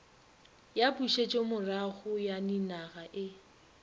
ya pušetšomorago ya ninaga e